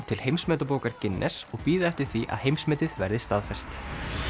til Heimsmetabókar Guinness og bíða eftir því að heimsmetið verði staðfest